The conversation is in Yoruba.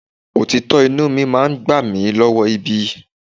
Òtítọ́ inúu mi máa gbà mí lọ́wọ́ ibi.